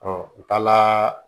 u taa la